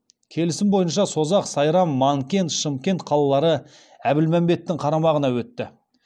келісім бойынша созақ сайрам манкент шымкент қалалары әбілмәмбеттің қарамағына өтті